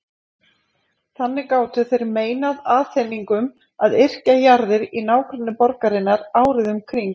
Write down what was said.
Þannig gátu þeir meinað Aþeningum að yrkja jarðir í nágrenni borgarinnar árið um kring.